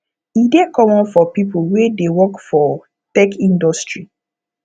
e dey common for pipo wey dey work for tech industry